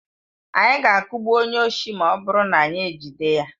Anyị ga-akụgbu onye oshi ma ọ bụrụ na anyị ejide ya.